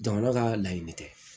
Jamana ka laɲini tɛ